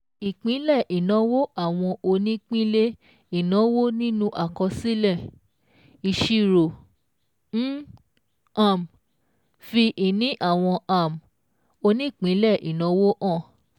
Ìpínlẹ̀ ìnáwó àwọn onípínlé ìnáwó nínú àkọsílẹ̀-ìṣirò ń um fi ìní àwọn um onípínlẹ̀ ìnáwó hàn.